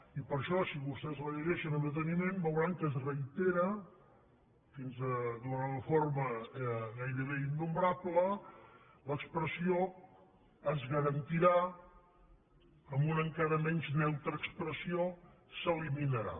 i per això si vostès la llegeixen amb deteniment veuran que es reitera d’una forma gairebé innombrable l’expressió es garantirà amb una encara menys neutra expressió s’eliminarà